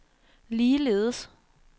ligeledes